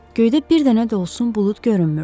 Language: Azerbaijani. Göydə bir dənə də olsun bulud görünmürdü.